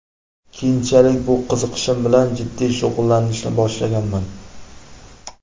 Keyinchalik bu qiziqishim bilan jiddiy shug‘ullanishni boshlaganman.